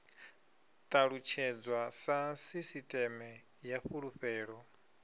ṱalutshedzwa sa sisiṱeme ya fulufhelo